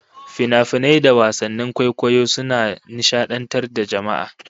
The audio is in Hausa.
Finafinai da wasannin kwaikwayo suna nishadantar da jama'a